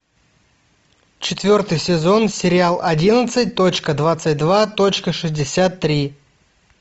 четвертый сезон сериал одиннадцать точка двадцать два точка шестьдесят три